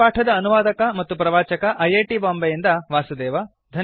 ಈ ಪಾಠದ ಅನುವಾದಕ ಮತ್ತು ಪ್ರವಾಚಕ ಐ ಐ ಟಿ ಬಾಂಬೆಯಿಂದ ವಾಸುದೇವ